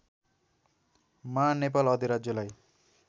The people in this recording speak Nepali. मा नेपाल अधिराज्यलाई